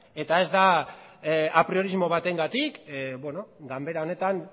ta ez da apriorismo batengatik ganbera honetan